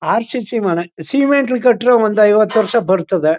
R C C ಮನೆ ಸಿಮೆಂಟ್ಲಿ ಕಟ್ಟಿರೋ ಒಂದು ಐವತ್ತು ವರ್ಷ ಬರ್ತುದೆ--